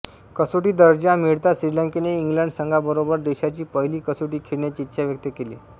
कसोटी दर्जा मिळताच श्रीलंकेने इंग्लंड संघाबरोबर देशाची पहिली कसोटी खेळण्याची इच्छा व्यक्त केली